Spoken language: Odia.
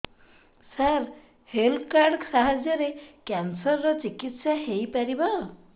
ସାର ହେଲ୍ଥ କାର୍ଡ ସାହାଯ୍ୟରେ କ୍ୟାନ୍ସର ର ଚିକିତ୍ସା ହେଇପାରିବ